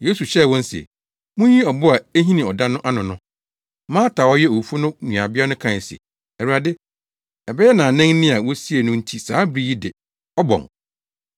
Yesu hyɛɛ wɔn se, “Munyi ɔbo a ehini ɔda no ano no.” Marta a ɔyɛ owufo no nuabea no kae se, “Awurade, ɛbɛyɛ nnaanan ni a wosiee no nti saa bere yi de, ɔbɔn.”